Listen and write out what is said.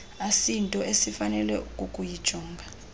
asinto esifanele kukuyijonga